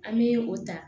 An bɛ o ta